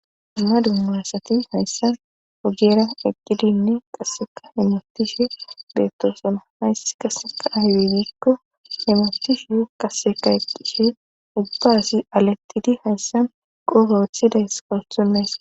ma dummaassati hayssan hojera eqqidinne qasseka hemotishe deettosana hays qasseka ahwigiikko hemetishuhu qaseka eqqishe ubbaasi alettidi hayssan qofowothidays kawuthonnays